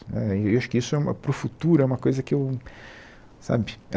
Né e acho que isso é uma para o futuro, é uma coisa que eu... Sabe?